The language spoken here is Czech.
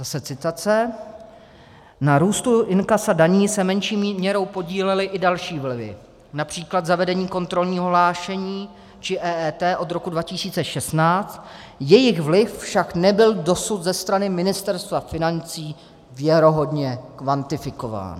Zase citace: "Na růstu inkasa daní se menší měrou podílely i další vlivy, například zavedení kontrolního hlášení či EET od roku 2016, jejich vliv však nebyl dosud ze strany Ministerstva financí věrohodně kvantifikován."